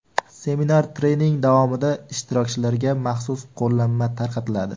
Seminar-trening davomida ishtirokchilarga maxsus qo‘llanma tarqatiladi.